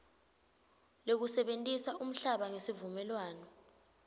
lekusebentisa umhlaba ngesivumelwano